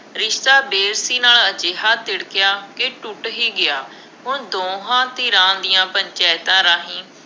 ਰਿਸ਼ਤਾ ਨਾਲ ਅਜਿਹਾ ਤਿੜਕਿਆ ਕਿ ਟੁੱਟ ਹੀ ਗਿਆ। ਹੁਣ ਦੋਹਾਂ ਧਿਰਾਂ ਦੀਆਂ ਪੰਚਾਇਤਾਂ ਰਾਹੀਂ